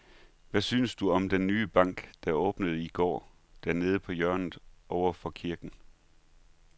Hvad synes du om den nye bank, der åbnede i går dernede på hjørnet over for kirken?